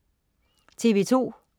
TV2: